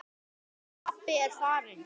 Hann pabbi er farinn.